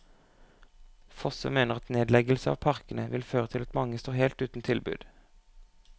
Fossum mener at nedleggelse av parkene vil føre til at mange står helt uten tilbud.